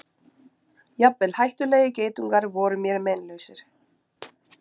Jafnvel hættulegir geitungar voru mér meinlausir.